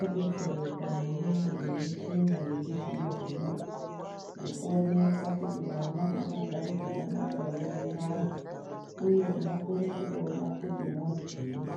adetsereke maningi nemichina yechizvino nekuoneka kuti mwana akagara zvakanaka here mundani uye unokone kutoona kuti muntu yii.